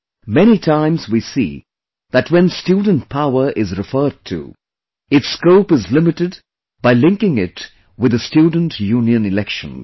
Many times we see that when student power is referred to, its scope is limited by linking it with the student union elections